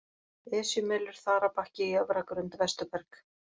Esjumelur, Þarabakki, Jöfragrund, Vesturberg